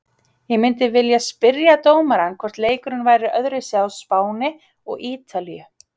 Ég myndi vilja spyrja dómarann hvort leikurinn væri öðruvísi á Spáni og ítalíu?